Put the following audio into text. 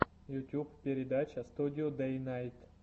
ютуб передача студио дэйнайт